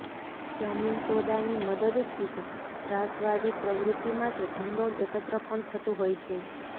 જમીન સોદાની મદદથી જ ત્રાસવાદી પ્રવૃત્તિ માટે ભંડોળ એકત્ર પણ થતું હોય છે